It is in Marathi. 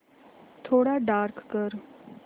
थोडा डार्क कर